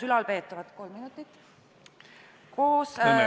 Palun kolm lisaminutit!